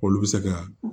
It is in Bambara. Olu bɛ se ka